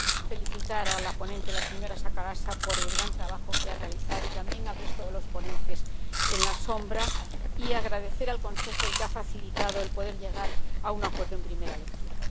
felicitar a la ponente, la señora Sakorafa, por el gran trabajo que ha realizado, y también al resto de los ponentes alternativos, así como expresar mi agradecimiento al Consejo, que ha facilitado el poder llegar a un acuerdo en primera lectura.